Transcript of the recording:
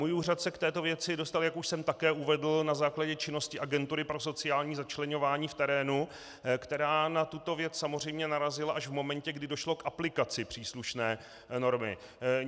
Můj úřad se k této věci dostal, jak už jsem také uvedl, na základě činnosti Agentury pro sociální začleňování v terénu, která na tuto věc samozřejmě narazila až v momentě, kdy došlo k aplikaci příslušné normy.